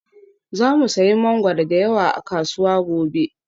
Za mu sayi mangwaro da yawa a kasuwa gobe